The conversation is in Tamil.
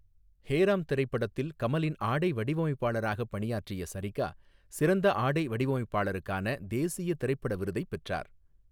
ஹே ராம்' திரைப்படத்தில் கமலின் ஆடை வடிவமைப்பாளராக பணியாற்றிய சரிகா, சிறந்த ஆடை வடிவமைப்பாளருக்கான தேசிய திரைப்பட விருதைப் பெற்றார்.